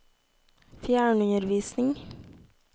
fjernundervisning